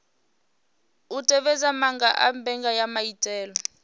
u tevhedza maga a mbekanyamaitele